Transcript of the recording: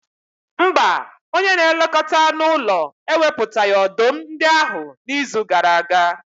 Mba, onye na-elekọta anụ ụlọ ewepụtaghị ọdụm ndị ahụ n'izu gara aga.